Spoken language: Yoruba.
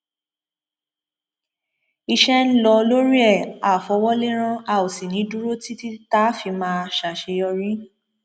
iṣẹ ń lọ lórí ẹ á fọwọ lẹrán a ò sì ní í dúró títí tá a fi máa ṣàṣeyọrí